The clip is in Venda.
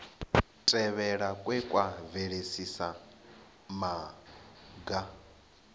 tevhelwa kwe kwa bveledzisa maga